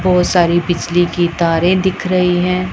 बहोत सारी बीजली की तारें दिख रही हैं।